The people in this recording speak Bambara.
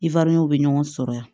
I bɛ ɲɔgɔn sɔrɔ yan